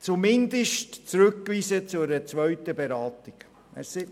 Zumindest sollte man den Artikel zu einer zweiten Beratung zurückweisen.